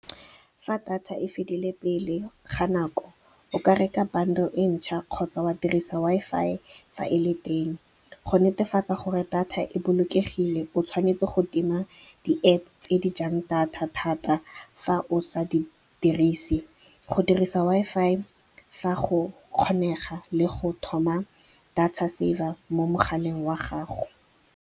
Fa data e fedile pele ga nako, o ka reka bundle ntšha kgotsa wa dirisa WI_FI fa e le teng. Go netefatsa gore data e bolokegile, o tshwanetse go tima di-App tse di jang data thata fa o sa di dirise, go dirisa WI_FI fa go kgonega le go thoma data saver mo mogaleng wa gago.